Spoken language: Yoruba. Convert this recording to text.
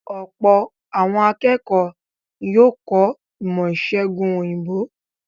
Ọ̀pọ̀ àwọn akẹ́kọ̀ọ́ ní yóò kọ̀ ọ́ ìmọ̀-ìṣẹ̀gùn òyìnbó.